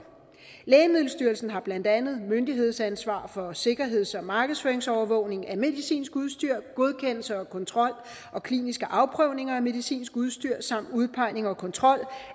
lægemiddelstyrelsen har blandt andet myndighedsansvar for sikkerheds og markedsføringsovervågning af medicinsk udstyr godkendelse og kontrol og kliniske afprøvninger af medicinsk udstyr samt udpegning og kontrol